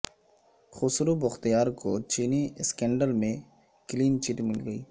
خسرو بختیار کو چینی اسکینڈل میں کلین چٹ مل گئی